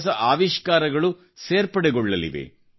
ಹೊಸ ಹೊಸ ಆವಿಷ್ಕಾರಗಳು ಸೇರ್ಪಡೆಗೊಳ್ಳಲಿದೆ